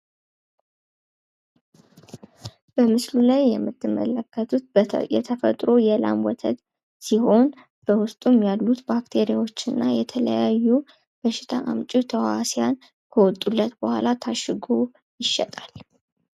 በምስሉ ላይ የምትመለከቱት የተፈጥሮ የላም ወተት ሲሆን በውስጡ ያሉት ባክቲሪያዎችና የተለያዩ በሽታ አምጪ ተዋህሲያን ከውጡለት በሃላ ታሽጎ ይሸጣል።